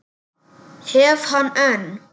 Hef hann enn.